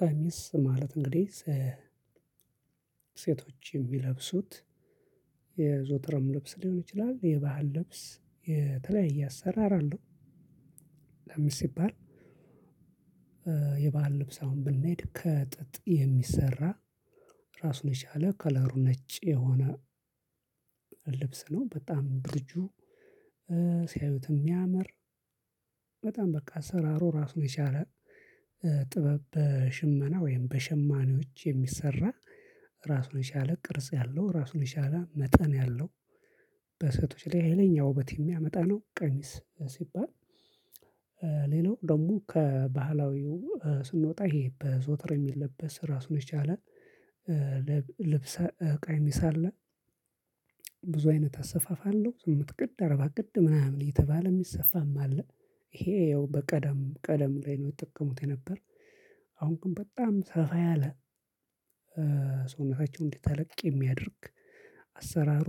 ቀሚስ ማለት እንግዲህ ሴቶች የሚለብሱት የዘወትርም ልብስ ሊሆን ይችላል የባህል ልብስ የተለያየ አሰራር አለው። ለምን ሲባል? የባህል ልብስ አሁን ብንሄድ ከጥጥ የሚሰራ ራሱን የቻለ ከለሩ ነጭ የሆነ ልብስ ነው በጣም ድርጁ ሲያዩት የሚያምር በጣም በቃ አሰራሩ ራሱን ነው የቻለ ጥበብ በሽመና ወይም በሸማኔዎች የሚሰራ ራሱን የቻለ ቅርጽ ያለው ራሱን የቻለ መጠን ያለው በሴቶች ላይ ሀይለኛ ውበት የሚያመጣ ነው። ቀሚስ ሲባል። ሌላው ደግሞ ከባህላዊው ስንወጣ ይሄ በዘውተር የሚለበስ ራሱን የቻለ ልብስ ቀሚስ አለ። ብዙ አይነት አሰፋፍ አለው ስምንት ቅድ አርባ ቅድ ምናምን እየተባለ የሚሰፋም አለ። ይሄ ያው በቀደም ቀደም ላይ ነው ይጠቀሙት የነበር። አሁን ግን በጣም ሰፋ ያለ ሰውነታቸውን እንዲህ ተለቅ የሚያደርግ አሰራሩ